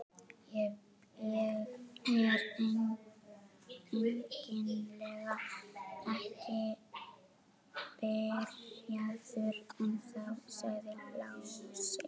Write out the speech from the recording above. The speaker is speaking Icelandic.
Ég er eiginlega ekki byrjaður ennþá, sagði Lási.